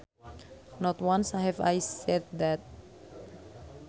Not once have I said that